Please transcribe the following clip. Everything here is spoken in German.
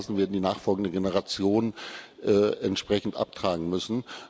Diese Blasen werden die nachfolgenden Generationen entsprechend abtragen müssen.